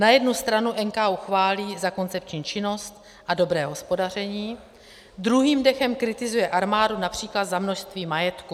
Na jednu stranu NKÚ chválí za koncepční činnost a dobré hospodaření, druhým dechem kritizuje armádu například za množství majetku.